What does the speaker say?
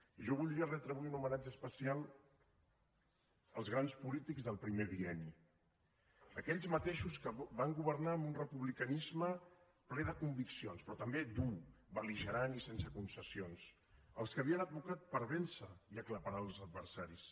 i jo voldria retre avui un homenatge especial als grans polítics del primer bienni a aquells mateixos que van governar amb un republicanisme ple de conviccions però també dur bel·ligerant i sense concessions els que havien advocat per vèncer i aclaparar els adversaris